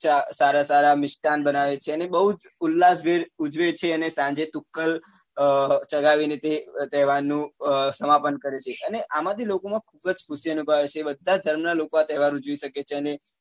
સારા સારા મિષ્ટાન બનાવે છે અને બઉ જ ઉલાસ ભેર ઉજવે છે અને સાંજે તુક્કલ અ ચગાવી ને તે અ તહેવાર નું સમાપન કરે છે અને આમાં થી લોકો માં ખુબ જ ખુશી અનુભવાય છે બધા જ ધર્મ ના લોકો આ તહેવાર ઉજવી શકે છે અને